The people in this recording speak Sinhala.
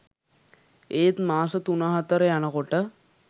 ඒත් මාස තුන හතර යනකොට